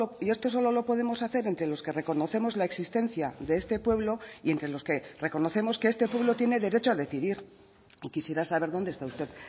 y esto solo lo podemos hacer entre los que reconocemos la existencia de este pueblo y entre los que reconocemos que este pueblo tiene derecho a decidir y quisiera saber dónde está usted